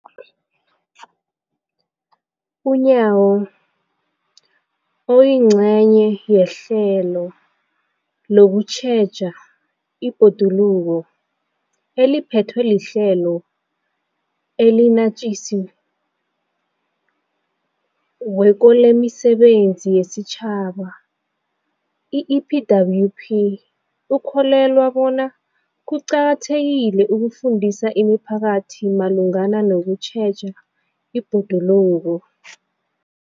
UNyawo, oyingcenye yehlelo lokutjheja ibhoduluko eliphethwe liHlelo eliNatjisi weko lemiSebenzi yesiTjhaba, i-EPWP, ukholelwa bona kuqakathekile ukufundisa imiphakathi malungana nokutjheja ibhoduluko.